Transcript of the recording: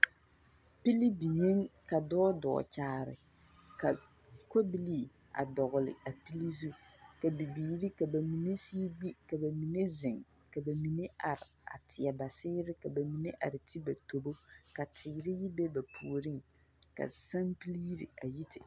Pili biŋeeŋ ka dɔɔ dɔɔ kyaare ka kobilii a dɔgele a pili zu. Ka bibiiri ka mine sigi gbi, ka ba mine zeŋ, ka ba mine are a teɛ ba seere. Ka ba mine are ti ba tobo, ka teere be ba puoriŋ, ka sampili yiri a yi te …